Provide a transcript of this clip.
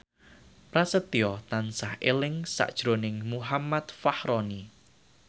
Prasetyo tansah eling sakjroning Muhammad Fachroni